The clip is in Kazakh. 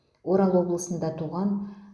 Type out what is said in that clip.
орал облысында туған